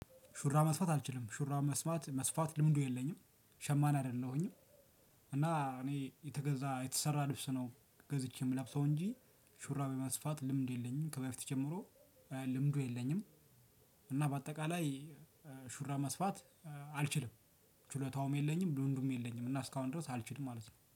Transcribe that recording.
ሹራብ መስፋት አልችልም ሹራብ መስፋት መስፋት ልምዱ የለኝም ሸማኔ አይደለሁኝም። እና እኔ የተገዛ የተሰራ ልብስ ነው ገዝቼ የምለብሰው እንጂ። ሹራብ የመስፋት ልምዱ የለኝም ከበፊት ጀምሮ ልምዱ የለኝም። እና በአጠቃላይ ሹራብ መስፋት አልችልም። ችሎታውም የለኝም ልምዱም የለኝም እና እስካሁን ድረስ አልችልም ማለት ነው